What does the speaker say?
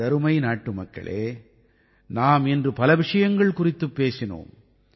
எனதருமை நாட்டுமக்களே நாம் இன்று பல விஷயங்கள் குறித்துப் பேசினோம்